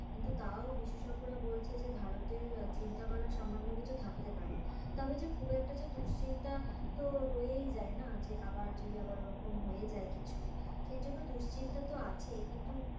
কিন্তু তাও বিশেষজ্ঞরা বলছে যে ভারতের চিন্তা করার সামান্য কিছু থাকতে পারে, তবে যে খুব একটা যে দুশ্চিন্তা তো রয়েই যায় না যে আবার যদি আবার ওরকম হয়ে যায় কিছু সে জন্য দুশ্চিন্তাতো আছেই কিন্তু,